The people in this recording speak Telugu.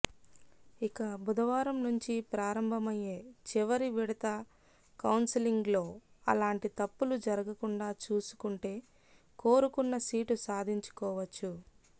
ఇక బుధవారం నుంచి ప్రారంభమయ్యే చివరి విడత కౌన్సెలింగ్లో అలాంటి తప్పులు జరగకుండా చూసుకుంటే కోరుకున్న సీటు సాధించుకోవచ్చు